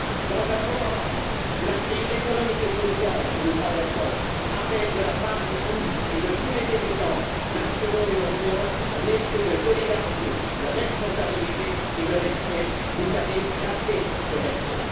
Dans un moment où la crise économique et sociale que nous traversons appelle de la part de tous, et de tous les dirigeants nationaux et européens, un esprit de solidarité, de responsabilité et de respect, vous avez cassé ce respect.